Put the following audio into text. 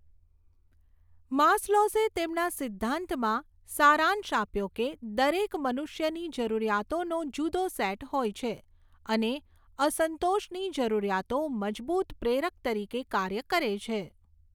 માસ્લોઝએ તેમના સિદ્ધાંતમાં સારાંશ આપ્યો કે દરેક મનુષ્યની જરૂરિયાતોનો જુદો સેટ હોય છે અને અસંતોષની જરૂરિયાતો મજબૂત પ્રેરક તરીકે કાર્ય કરે છે.